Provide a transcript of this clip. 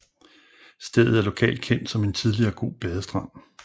Stedet er lokalt kendt som en tidligere god badestrand